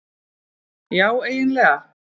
Já eiginlega.